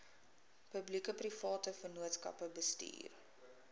publiekeprivate vennootskappe bestuur